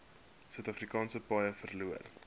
suidafrikaanse paaie verloor